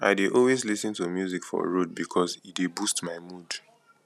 i dey always lis ten to music for road bikos e dey boost my mood